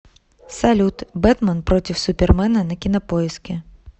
салют бэтмен против супермена на кинопоиске